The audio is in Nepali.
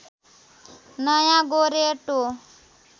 नयाँ गोरेटो